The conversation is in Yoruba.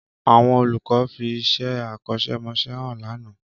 Àwọn olùkọ́ fi iṣẹ́ akọ́ṣẹ́mọṣẹ́ hàn lánàá